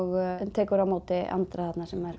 tekur á móti Andra